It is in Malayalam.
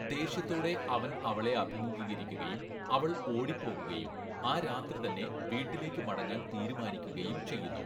ദേഷ്യത്തോടെ അവൻ അവളെ അഭിമുഖീകരിക്കുകയും അവൾ ഓടിപ്പോകുകയും ആ രാത്രി തന്നെ വീട്ടിലേക്ക് മടങ്ങാൻ തീരുമാനിക്കുകയും ചെയ്യുന്നു.